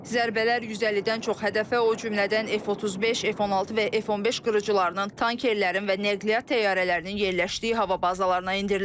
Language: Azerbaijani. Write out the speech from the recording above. Zərbələr 150-dən çox hədəfə, o cümlədən F35, F16 və F15 qırıcılərinin, tankerlərin və nəqliyyat təyyarələrinin yerləşdiyi hava bazalarına endirilib.